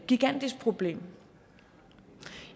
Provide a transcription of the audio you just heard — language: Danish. gigantisk problem